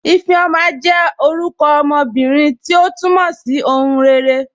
Ifeoma jẹ́ orúkọ ọmọ ọmọbírín, tí o túmọ̀ sí "ọ̀hùn rẹ̀ré.